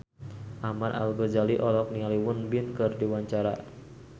Ahmad Al-Ghazali olohok ningali Won Bin keur diwawancara